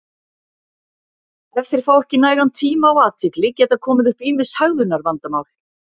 ef þeir fá ekki nægan tíma og athygli geta komið upp ýmis hegðunarvandamál